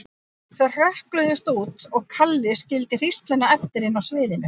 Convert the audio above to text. Þau hrökkluðust út og Kalli skildi hrísluna eftir inni á sviðinu.